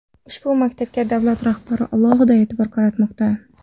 Ushbu maktabga davlat rahbari alohida e’tibor qaratmoqda.